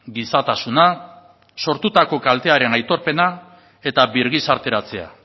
gizatasuna sortutako kaltearen aitorpena eta birgizarteratzea